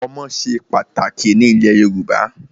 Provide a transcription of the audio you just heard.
Ọmọ ṣe pàtàkì ní ilẹ̀ Yorùbá.